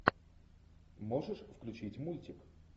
можешь включить мультик